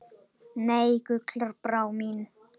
Nei, Gullbrá mín.